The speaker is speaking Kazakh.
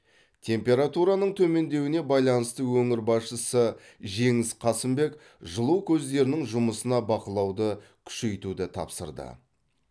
температураның төмендеуіне байланысты өңір басшысы жеңіс қасымбек жылу көздерінің жұмысына бақылауды күшейтуді тапсырды